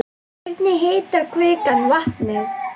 Hvernig hitar kvikan vatnið?